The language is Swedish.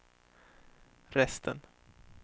resten